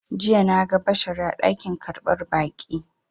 Jiya na ga Bashari a dakin karɓar baƙi.